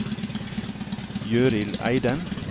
Gøril Eidem